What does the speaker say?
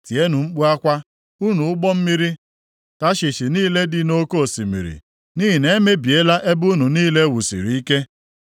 Tienụ mkpu akwa, unu ụgbọ mmiri Tashish niile dị nʼoke osimiri, nʼihi na e mebiela ebe unu niile e wusiri ike.